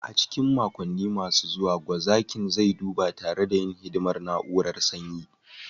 A cikin makonni masu zuwa, gwazakin zai duba tare da yin hidimar na'urar sanyi